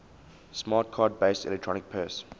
smart card based electronic purse